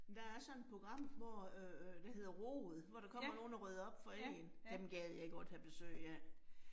Der er sådan et program, hvor øh der hedder rod, hvor der kommer nogen og rydder op for én. Dem gad jeg godt have besøg af